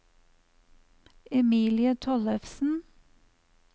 Emilie Tollefsen